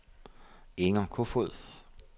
Inger Kofod